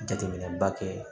Jateminɛba kɛ